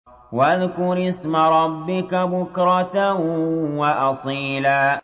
وَاذْكُرِ اسْمَ رَبِّكَ بُكْرَةً وَأَصِيلًا